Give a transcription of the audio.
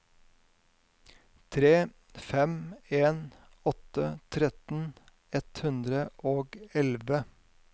tre fem en åtte tretten ett hundre og elleve